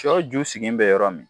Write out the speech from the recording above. Sɔ ju sigilen bɛ yɔrɔ min